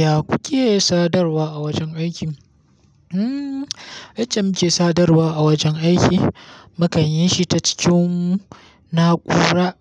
Ya kuke sadarwa a wajen aiki? Hmm, yacce muke sadarwa a wajen aiki. Mukan yi shi ta cikin na'ura